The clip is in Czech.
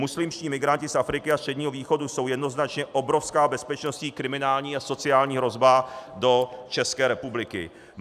Muslimští migranti z Afriky a Středního východu jsou jednoznačně obrovská bezpečnostní, kriminální a sociální hrozba do České republiky.